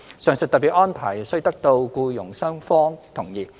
上述特別安排須得到僱傭雙方同意。